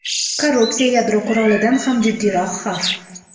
Korrupsiya – yadro qurolidan ham jiddiyroq xavf.